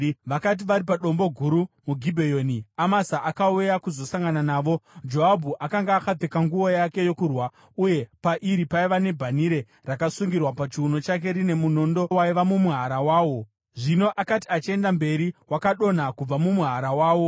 Vakati vari padombo guru muGibheoni, Amasa akauya kuzosangana navo. Joabhu akanga akapfeka nguo yake yokurwa, uye pairi paiva nebhanhire rakasungirwa pachiuno chake rine munondo waiva mumuhara wawo. Zvino akati achienda mberi, wakadonha kubva mumuhara wawo.